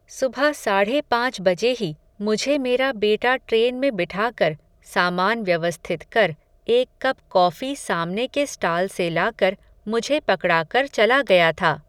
सुबह साढ़े पांच बजे ही, मुझे मेरा बेटा ट्रेन में बिठाकर, सामान व्यवस्थित कर, एक कप कॉफ़ी सामने के स्टाल से लाकर, मुझे पकड़ा कर चला गया था